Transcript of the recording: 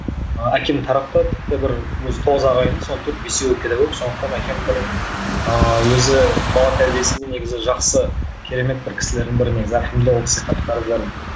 әкем тарапты тіпті бір өзі тоғыз ағайынды ма соның төрт бесеуі педагог сондықтан әкем бір ыыы өзі бала тәрбиесінде негізі жақсы керемет бір кісілердің бірі негізі альхамдулилла ол кісіге қатты қарыздармын